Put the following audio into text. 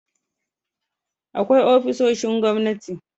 Akwai ofisoshin gwamnati